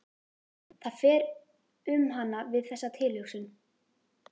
Það fer um hana við þessa tilhugsun.